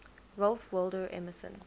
ralph waldo emerson